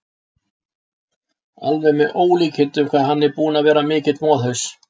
Alveg með ólíkindum hvað hann er búinn að vera mikill moðhaus!